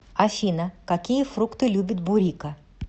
афина какие фрукты любит бурико